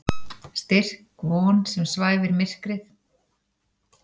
Styrk von sem svæfir myrkrið.